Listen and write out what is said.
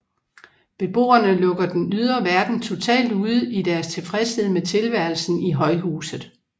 Beboerne lukker den ydre verden totalt ude i deres tilfredshed med tilværelsen i højhuset